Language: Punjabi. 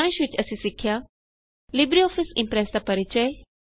ਸਾਰਾਂਸ਼ ਵਿੱਚ ਅਸੀ ਸਿੱਖਿਆ ਲਿਬਰੇਆਫਿਸ ਇਮਪ੍ਰੈਸ ਦਾ ਪਰਿਚੈ